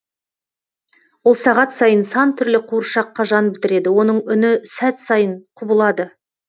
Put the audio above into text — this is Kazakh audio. ол сағат сайын сан түрлі қуыршаққа жан бітіреді оның үні сәт сайын құбылады